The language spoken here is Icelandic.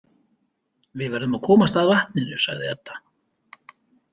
Við verðum að komast að vatninu, sagði Edda.